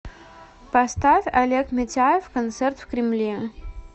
поставь олег митяев концерт в кремле